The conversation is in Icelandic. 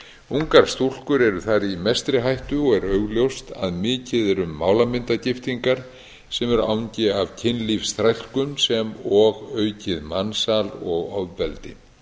ungar stúlkur eru þar í mestri hættu og er augljóst að mikið er um málamyndagiftingar sem eru angi af kynlífsþrælkun sem og aukið mansal og ofbeldi